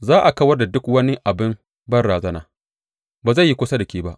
Za a kawar da duk wani abin banrazana; ba zai yi kusa da ke ba.